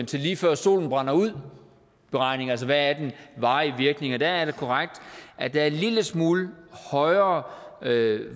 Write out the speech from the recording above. til lige før solen brænder ud beregning altså hvad den varige virkning er og der er det korrekt at der er en lille smule højere